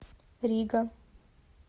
рига